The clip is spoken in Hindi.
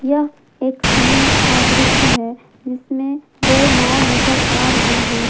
एक समुद्र का दृश्य है जिसमें दो नाव नजर आ रहे हैं।